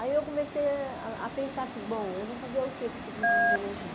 Aí eu comecei a a pensar assim, bom, eu vou fazer o que com esse curso de museologia?